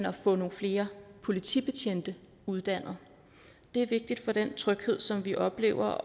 at få nogle flere politibetjente uddannet det er vigtigt for den tryghed som vi oplever